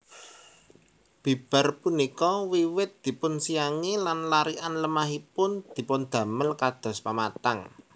Bibar punika wiwit dipunsiangi lan larikan lemahipun dipundamel kados pematang